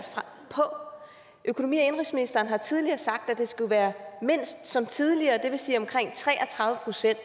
på økonomi og indenrigsministeren har tidligere sagt at det mindst skulle være som tidligere det vil sige omkring tre og tredive procent